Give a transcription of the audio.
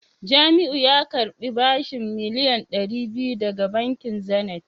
Jamiu ya karbi bashin miliyan dari biyu daga bankin Zenith